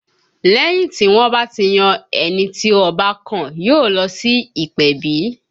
Lẹ́yìn tí wọ́n bá ti yan ẹni tí Ọba kàn, yóò lọ sí ìpèbí